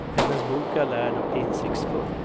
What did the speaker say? Hennes bok är lärd och insiktsfull.